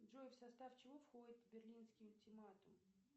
джой в состав чего входит берлинский ультиматум